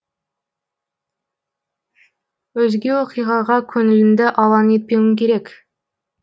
өзге оқиғаға көңіліңді алаң етпеуің керек